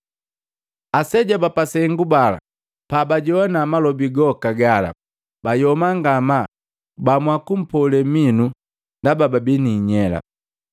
Aseja ba sengu bala pabajowa malobi goka gala, bayoma ngamaa bahamua kumpole minu koni ndaba babii ni inyela.